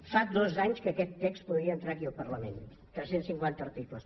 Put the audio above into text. fa dos anys que aquest text podia entrar aquí al parlament tres cents i cinquanta articles